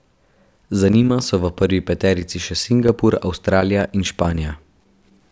Za njima so v prvi peterici še Singapur, Avstralija in Španija.